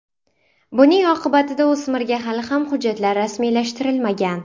Buning oqibatida o‘smirga hali ham hujjatlar rasmiylashtirilmagan.